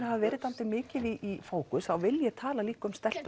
hafa verið dáldið mikið í fókus þá vil ég tala líka um